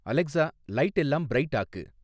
Alexa லைட்டெல்லாம் bright ஆக்கு